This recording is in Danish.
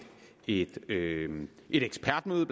et ekspertmøde